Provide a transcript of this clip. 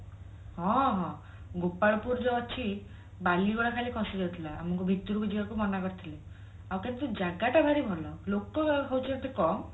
ହଁ ହଁ ଗୋପାଳ ପୁର ଯୋଉ ଅଛି ବଳି ଗୁରା ଖାଲି ଖସି ଯାଉଥିଲା ଆମକୁ ଭିତରକୁ ଯିବାକୁ ମନା କରିଥିଲେ ଆଉ କିନ୍ତୁ ଜାଗା ଟା ଭାରି ଭଲ ଲୋକ ହଉଛନ୍ତି କମ